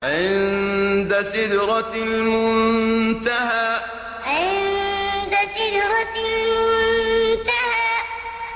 عِندَ سِدْرَةِ الْمُنتَهَىٰ عِندَ سِدْرَةِ الْمُنتَهَىٰ